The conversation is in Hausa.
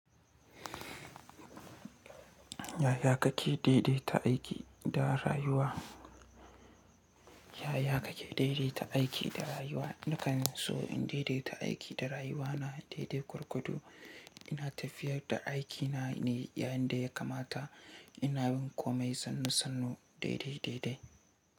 Yaya kake daidaita aiki da rayuwa? Yaya kake daidaita aiki da rayuwa? Nakan so in dai-dai ta aiki da rayuwa na dai-dai kurkuku. Ina tafiyar da aikina ne yayin da ya kamata ina bin komai sannu-sannu, daidai-daidai.